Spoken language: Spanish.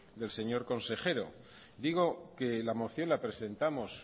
del señor consejero digo que la moción la presentamos